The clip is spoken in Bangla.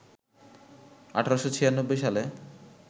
১৮৯৬ সালে